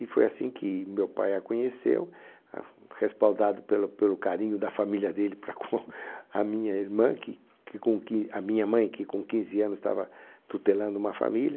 E foi assim que meu pai a conheceu, ah, respaldado pelo pelo carinho da família dele para com a minha irmã que que com quin a minha mãe, que com quinze anos estava tutelando uma família.